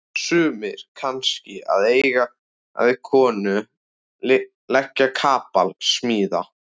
Sumir kannski að eiga við konu, leggja kapal, smíða.